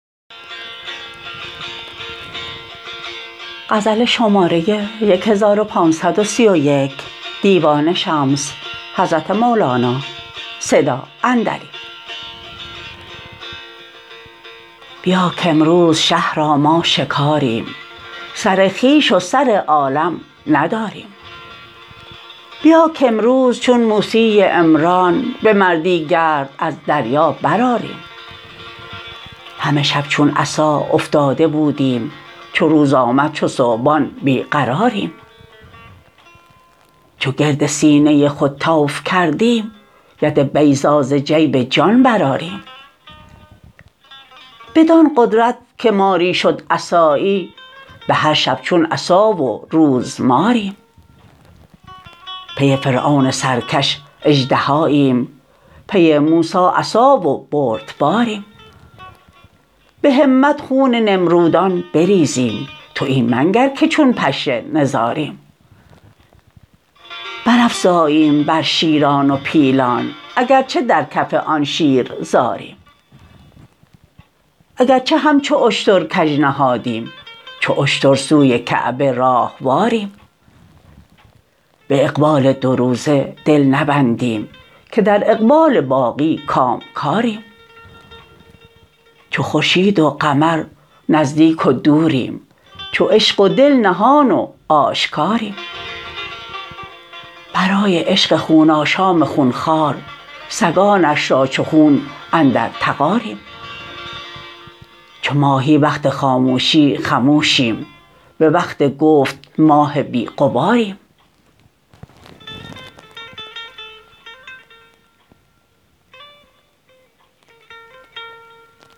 بیا کامروز شه را ما شکاریم سر خویش و سر عالم نداریم بیا کامروز چون موسی عمران به مردی گرد از دریا برآریم همه شب چون عصا افتاده بودیم چو روز آمد چو ثعبان بی قراریم چو گرد سینه خود طوف کردیم ید بیضا ز جیب جان برآریم بدان قدرت که ماری شد عصایی به هر شب چون عصا و روز ماریم پی فرعون سرکش اژدهاییم پی موسی عصا و بردباریم به همت خون نمرودان بریزیم تو این منگر که چون پشه نزاریم برافزاییم بر شیران و پیلان اگر چه در کف آن شیر زاریم اگر چه همچو اشتر کژنهادیم چو اشتر سوی کعبه راهواریم به اقبال دو روزه دل نبندیم که در اقبال باقی کامکاریم چو خورشید و قمر نزدیک و دوریم چو عشق و دل نهان و آشکاریم برای عشق خون آشام خون خوار سگانش را چو خون اندر تغاریم چو ماهی وقت خاموشی خموشیم به وقت گفت ماه بی غباریم